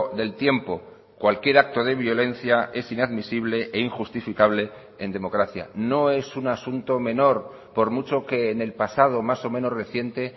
del tiempo cualquier acto de violencia es inadmisible e injustificable en democracia no es un asunto menor por mucho que en el pasado más o menos reciente